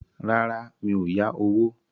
Rárá, mi ò yá owó